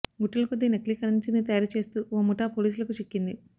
గుట్టల కొద్ది నకిలీ కరెన్సీని తయారు చేస్తూ ఓ ముఠా పోలీసులకు చిక్కింది